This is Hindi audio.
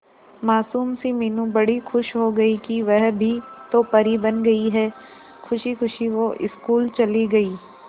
मासूम सी मीनू बड़ी खुश हो गई कि वह भी तो परी बन गई है खुशी खुशी वो स्कूल चली गई